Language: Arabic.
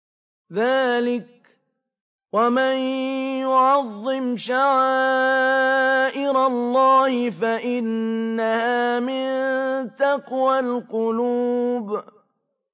ذَٰلِكَ وَمَن يُعَظِّمْ شَعَائِرَ اللَّهِ فَإِنَّهَا مِن تَقْوَى الْقُلُوبِ